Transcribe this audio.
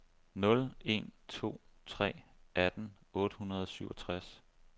nul en to tre atten otte hundrede og syvogtres